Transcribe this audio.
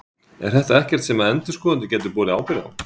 Er þetta ekkert sem að endurskoðendur gætu borið ábyrgð á?